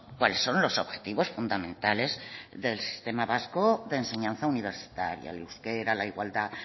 cuáles son los objetivos fundamentales del sistema vasco de enseñanza universitaria el euskera la igualdad